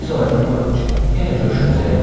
Biz ayrılmırıq ki, yenə görüşəcəyik.